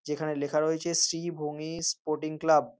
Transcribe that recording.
যেখানে লেখা রয়েছে শ্রীভূমি স্পোর্টিং ক্লাব ।